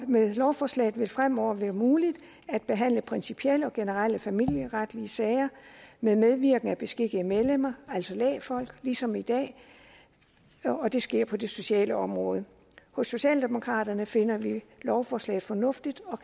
med lovforslaget vil det fremover være muligt at behandle principielle og generelle familieretlige sager med medvirken af beskikkede medlemmer altså lægfolk ligesom i dag og det sker på det sociale område hos socialdemokraterne finder vi lovforslaget fornuftigt og